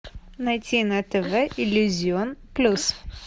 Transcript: найти на тв иллюзион плюс